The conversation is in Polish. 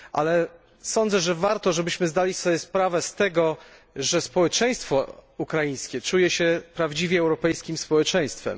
Ale sądzę, że warto zdać sobie sprawę z tego, że społeczeństwo ukraińskie czuje się prawdziwie europejskim społeczeństwem.